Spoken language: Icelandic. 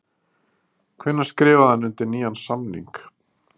Hvenær skrifaði hann undir nýjan samning?